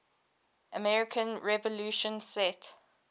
american revolution set